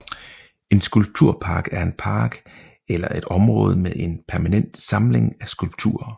En skulpturpark er en park eller et område med en permanent samling af skulpturer